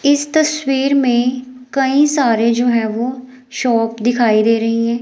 इस तस्वीर में कई सारे जो है वो शॉप दिखाई दे रही है।